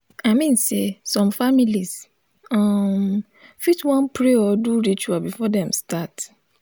i min sey som familiz um fit wan pray or do ritual before dem start